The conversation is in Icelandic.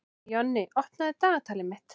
Jonni, opnaðu dagatalið mitt.